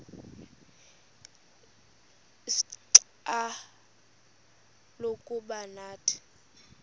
ixfsha lokuba nathi